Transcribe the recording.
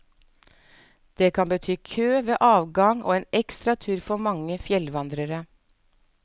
Det kan bety kø ved avgang og en ekstra tur for mange fjellvandrere.